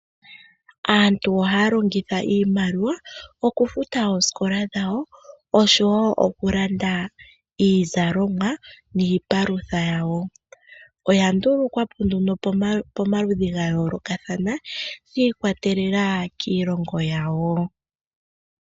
Aantu ohaya longitha iimaliwa okufuta oosikola dhawo okufuta oosikola dhawo oshowo okulanda iizalomwa niipalutha yawo oya ndulukwa po nduno pomaludhi ga yoolokathana shi ikwatelela kiilongonwa yawo.